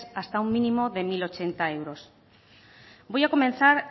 hasta un mínimo de mil ochenta euros voy a comenzar